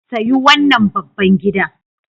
Sayi wannan babban gidan.